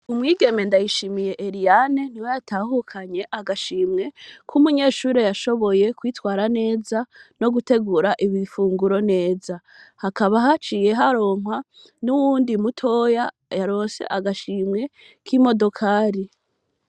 Umwigeme Ndayishimiye Eliane niwe yatahukanye agashimwe ,K'umunyeshure yashoboye kwitwara neza, no gutegura ibifunguro neza, hakaba haciye haronka n'uwundi mutoya yaronse agashimwe k'imodokari.